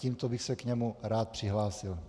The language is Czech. Tímto bych se k němu rád přihlásil.